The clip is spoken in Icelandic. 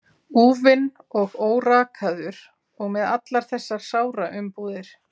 Úfinn og órakaður og með allar þessar sáraumbúðir.